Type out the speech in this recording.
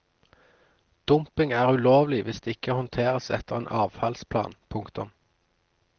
Dumping er ulovlig hvis det ikke håndteres etter en avfallsplan. punktum